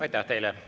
Aitäh teile!